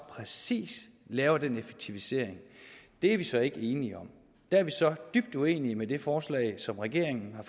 præcis laver den effektivisering er vi så ikke enige om der er vi så dybt uenige i det forslag som regeringen har